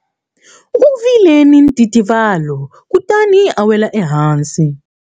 U vile ni ntitivalo kutani a wela ehansi.